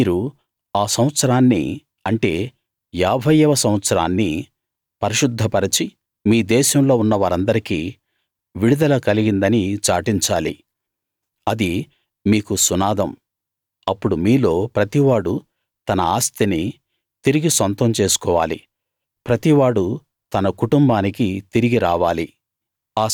మీరు ఆ సంవత్సరాన్ని అంటే ఏభైయవ సంవత్సరాన్ని పరిశుద్ధ పరచి మీ దేశంలో ఉన్న వారందరికి విడుదల కలిగిందని చాటించాలి అది మీకు సునాదం అప్పుడు మీలో ప్రతివాడూ తన ఆస్తిని తిరిగి సొంతం చేసుకోవాలి ప్రతివాడూ తన కుటుంబానికి తిరిగి రావాలి